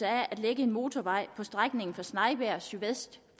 at anlægge en motorvej på strækningen fra snejbjerg sydvest